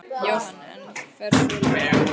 Jóhann: En fer svolítið hægar af stað?